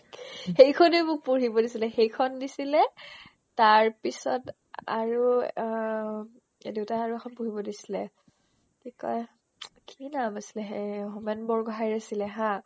সেইখনে মোক পঢ়িব দিছিলে সেইখন দিছিলে তাৰপিছত আ আৰু অ অম্ দেউতাই আৰু এখন পঢ়িব দিছিলে কি কই কি নাম আছিলে হেই হোমেন বৰগোহাইৰ আছিলে হা